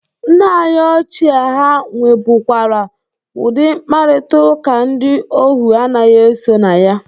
Nna anyị ochie ha nwebụkwara udị mkparịtaụka ndị ohu anaghị eso na ya.